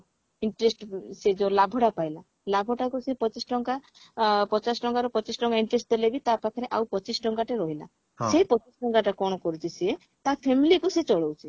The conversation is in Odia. interest ସେ ଯଉ ଲାଭ ଟା ପାଇଲା ଲାଭ ଟାକୁ ସେ ପଚିଶ ଟଙ୍କା ଆ ପଚାଶ ଟଙ୍କାରୁ ପଚିଶ ଟଙ୍କା interest ଦେଲେ ବି ତା ପାଖରେ ଆଉ ପଚିଶ ଟଙ୍କାଟେ ରହିଲା ସେ ପଚିଶ ଟଙ୍କାଟାକୁ କଣ କରୁଛି ସିଏ ତା family କୁ ସିଏ ଚଳଉଛି